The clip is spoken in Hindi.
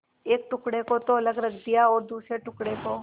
एक टुकड़े को तो अलग रख दिया और दूसरे टुकड़े को